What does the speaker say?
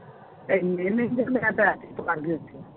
ਇੰਨੇ ਮਹਿੰਗੇ ਮੈਂ ਤਾਂ